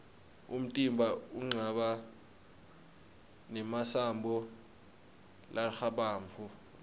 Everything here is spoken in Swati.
umtimba unqaba nemasambo largabamgu